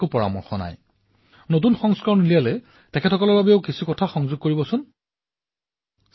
মই বিচাৰিছো যে আপুনি কিতাপখনৰ নতুন সংস্কৰণৰ বিষয়ে চিন্তা কৰিলে তাত অভিভাৱক আৰু শিক্ষকৰ বাবেও যেন কিছু মন্ত্ৰ আৰু কথা অন্তৰ্ভুক্ত কৰে